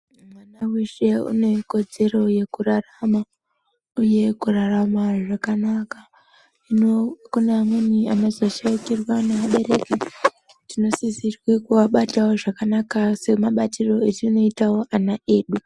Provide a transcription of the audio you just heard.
Mwana veshe unekodzero yekurarama uye yekurarama zvakanaka. Hino kune amweni anozoshaikirwa neabereki tinosisirwa kuabatavo zvakanaka semabatiro etinoitavo ana edu.